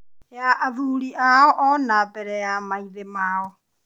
ya athuri ao, ona bere ya maithe mao